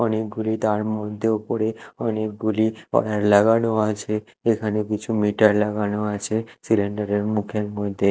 অনেকগুলি তার মধ্যেও ওপরে অনেকগুলি ওয়্যার লাগানো আছে এখানে কিছু মিটার লাগানো আছে সিলিন্ডা -এর মুখের মইদ্যে।